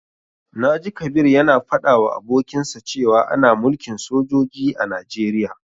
Na ji Kabir ya na faɗa wa abokinsa cewa ana mulkin sojoji a Najeriya